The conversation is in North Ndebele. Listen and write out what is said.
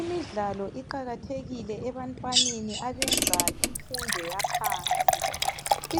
Imidlalo iqakathekile ebantwaneni abenza imfundo yaphansi.